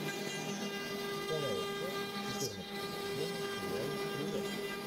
вторая часть четырнадцатого сезона сериала стрелок